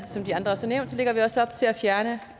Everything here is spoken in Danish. som andre også har nævnt lægger vi også op til at fjerne